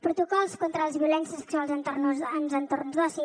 protocols contra les violències sexuals en els entorns d’oci